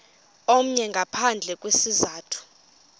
omnye ngaphandle kwesizathu